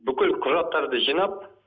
бүкіл құжаттарды жинап